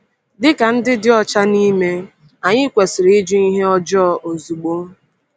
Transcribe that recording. Dị ka ndị dị ọcha n’ime, anyị kwesịrị ịjụ ihe ọjọọ ozugbo.